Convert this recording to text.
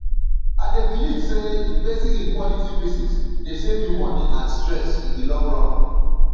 i dey believe say investing in quality pieces dey save you money and stress in di long run